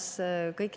Lugupeetud ettekandja!